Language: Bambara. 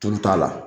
Tulu t'a la